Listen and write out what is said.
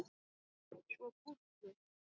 Svo gúrku.